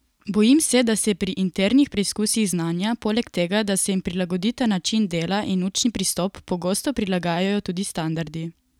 Bojim se, da se pri internih preizkusih znanja, poleg tega, da se jim prilagodita način dela in učni pristop, pogosto prilagajajo tudi standardi.